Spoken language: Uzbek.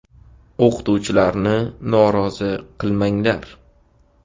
O‘qituvchilarni norozi qilmanglar.